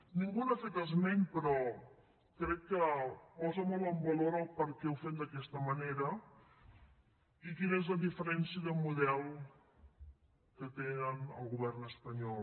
ningú n’ha fet esment però crec que posa molt en valor per què ho fem d’aquesta manera i quina és la diferència de model que tenen al govern espanyol